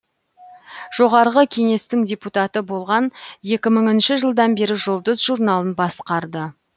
жоғарғы кеңестің депутаты болған екі мыңыншы жылдан бері жұлдыз журналын басқарды